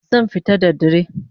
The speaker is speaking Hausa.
Zan fita da dare